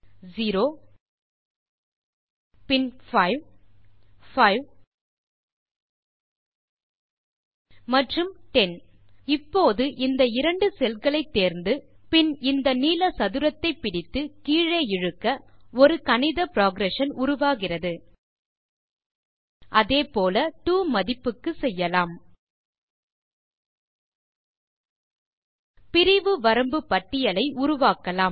0 பின் 5 5 மற்றும்10 இப்போது இந்த இரண்டு செல்களை தேர்ந்து பின் இந்த நீல சதுரத்தை பிடித்து கீழே இழுக்க ஒரு கணித புரோகிரஷன் உருவாகிறது அதே போல டோ மதிப்புக்கு செய்யலாம் பிரிவு வரம்பு பட்டியலை உருவாக்கலாம்